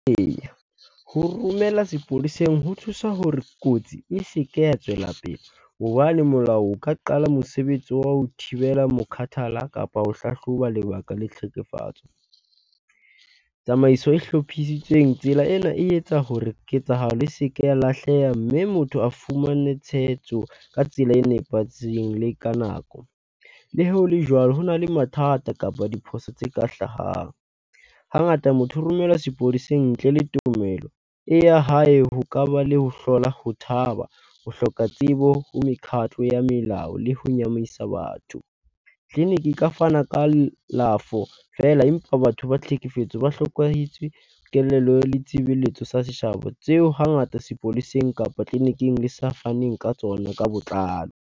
Eya, ho romela sepoleseng ho thusa hore kotsi e se ke ya tswela pele hobane molao o ka qala mosebetsi wa ho thibela mokhathala kapa ho hlahloba lebaka le tlhekefatso. Tsamaiso e hlophisitsweng, tsela ena e etsa hore ketsahalo e se ke ya lahleha. Mme motho a fumane tshehetso ka tsela e nepahetseng le ka nako. Le ha hole jwalo, hona le mathata kapa diphoso tse ka hlahang. Hangata motho o romelwa sepoleseng ntle le tumelo e ya hae ho kaba le ho hlola ho thaba, ho hloka tsebo ho mekhatlo ya melao le ho nyahamisa batho. Tleliniki e ka fana kalafo feela empa batho ba tlhekefetso ba hlokahetswe kelello le tshebeletso sa tseo hangata sepoleseng kapa tleleniking le sa faneng ka tsona ka botlalo.